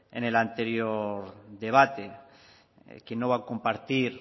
en el anterior debate quién no va a compartir